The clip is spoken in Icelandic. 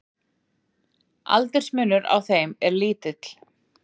aldursmunur á þeim er lítill